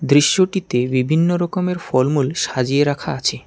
দৃশ্যটিতে বিভিন্নরকমের ফলমূল সাজিয়ে রাখা আছে।